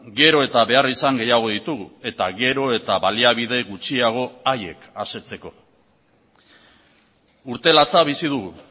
gero eta beharrizan gehiago ditugu eta gero eta baliabide gutxiago haiek asetzeko urte latza bizi dugu